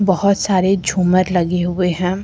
बहोत सारे झूमर लगे हुए हैं।